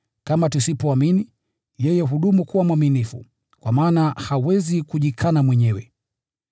Kama tusipoamini, yeye hudumu kuwa mwaminifu, kwa maana hawezi kujikana mwenyewe.